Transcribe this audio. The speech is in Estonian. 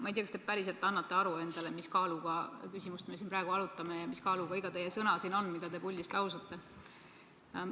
Ma ei tea, kas te annate endale aru, millise kaaluga küsimust me siin praegu arutame ja millise kaaluga on iga teie sõna, mida te puldist lausute.